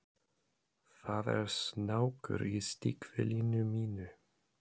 Það er snákur í stígvélinu mínu?